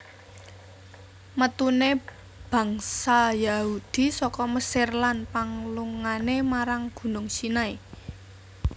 Metune bangsa Yahudi saka Mesir lan panglungane marang Gunung Sinai